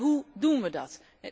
Maar hoe doen wij dat?